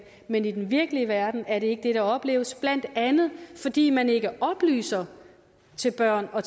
men i den virkelige verden er det ikke det der opleves blandt andet fordi man ikke oplyser børn og